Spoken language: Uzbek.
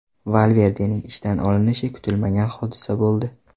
Valverdening ishdan olinishi kutilmagan hodisa bo‘ldi.